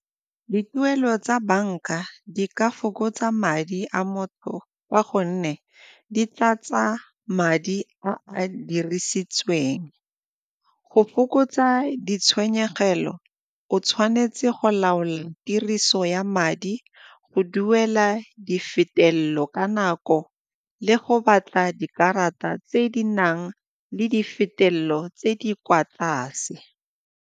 Dituelo tsa banka di ka fokotsa madi a motho ka gonne di tlatsa madi a a dirisitsweng, go fokotsa ditshenyegelo o tshwanetse go laola tiriso ya madi, go duela di ka nako le go batla dikarata tse di nang le di tse di kwa tlase.